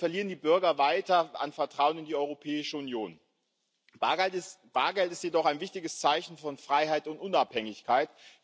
Dadurch verlieren die Bürger weiter an Vertrauen in die Europäische Union. Bargeld ist jedoch ein wichtiges Zeichen von Freiheit und Unabhängigkeit.